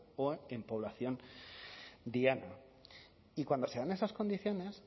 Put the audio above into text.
o en población diana y cuando se dan esas condiciones